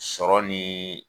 Sɔɔni.